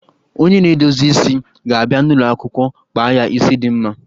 Onye na-edozi isi ga-abia n'ụlọ akwụkwọ kpa ya isi dị mma